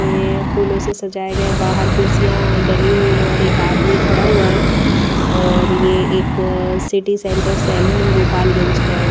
यह फूलों से सजाए गए बाहर कुर्सियां डली हुई है और एक आदमी खड़ा हुआ है और यह एक सिटी सेंटर सैलून गोपालगंज का है।